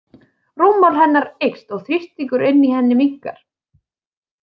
Rúmmál hennar eykst og þrýstingur inni í henni minnkar.